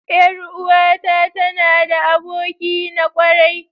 Yar uwata tana da aboki na kwarai.